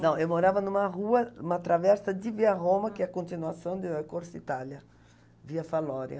Não, eu morava em uma rua, em uma travessa de via Roma, que é a continuação de Corsa Itália, via Falória.